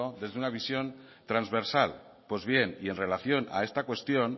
desde una visión transversal pues bien y en relación a esta cuestión